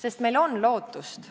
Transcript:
Ja meil on lootust.